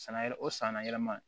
San nayɛrɛ o san nayɛlɛma